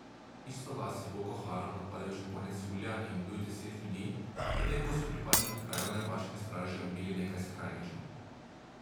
Isto vas je Boko Haram napadel že konec julija in ubil deset ljudi, potem ko so pripadniki krajevne vaške straže ubili nekaj skrajnežev.